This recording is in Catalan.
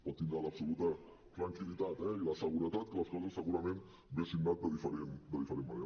pot tindre l’absoluta tranquil·litat i la seguretat que les coses segurament haurien anat de diferent manera